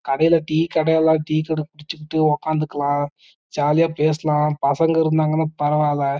கடைல டீ கடைல எல்லா டீ குடிச்சுட்டு உக்காறலாம்ஜாலியா பேசலாம் பசங்க இருந்தகென பரவலா